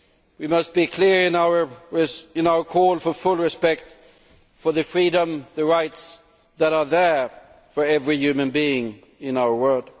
We must be clear in our call for full respect for the freedom and the rights that are there for every human being in our world.